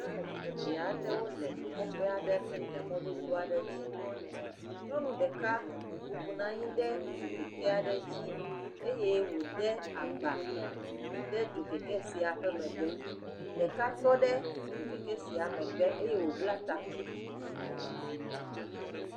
nyɔnu evɛaɖewo le kɔƒɛ aɖe mɛ lɛ mɔdodo aɖe dzi nyɔnu ɖeka bubunɔ anyi ɖe dzokɛkɛa'ɖe dzi eye wò de agba ɖe dzokɛkɛ sia megbe ɖeka tɔɖe dzokɛkɛ sia megbe eye wobla taku